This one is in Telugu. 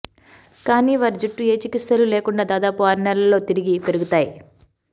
కానీ వారి జుట్టు ఏ చికిత్సలు లేకుండా దాదాపు ఆరునెలల్లో తిరిగి పెరుగుతాయి